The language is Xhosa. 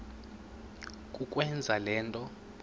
kukwenza le nto